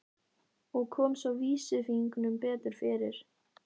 Og kom svo vísifingrinum betur fyrir.